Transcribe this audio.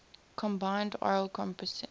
combined oral contraceptive